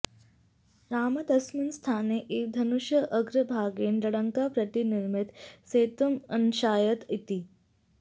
रामः तस्मिन् स्थाने एव धनुषः अग्रभागेण लङ्कां प्रति निर्मितं सेतुम् अनाशयत् इति